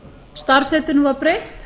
starfsheitinu var breytt